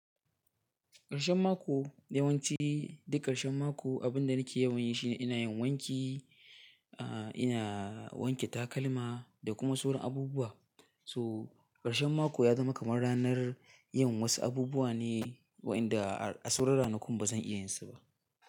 Ƙarshen mako, yawanci duk ƙarshen mako abin da nike yawan yi shine ina yin wanki, a ina wanke takalma da kuma sauran abubuwa. So ƙarshen mako ya zama kamar ranar yin wasu abubuwa ne wa inda a sauran ranakun ba zan iya yin su ba.